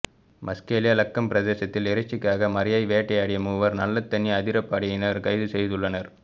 மஸ்கெலியா லக்கம் பிரதேசத்தில் இறைச்சிக்காக மரையை வேட்டையாடிய மூவரை நல்லத்தண்ணி அதிரப்படையினர் கைது செய்துள்ளனர்